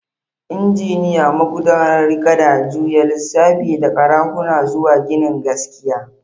Injiniya, magudanar gada, juya lisafi da karahuna zuwa ginin gaskiya.